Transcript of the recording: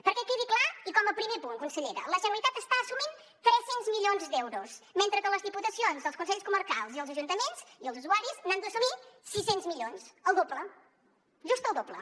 perquè quedi clar i com a primer punt consellera la generalitat està assumint tres cents milions d’euros mentre que les diputacions els consells comarcals i els ajuntaments i els usuaris n’han d’assumir sis cents milions el doble just el doble